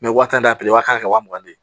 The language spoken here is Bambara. waa tan de wa mugan de ye